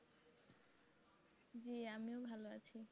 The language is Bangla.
জি আমিও ভালো আছি।